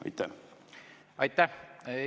Aitäh!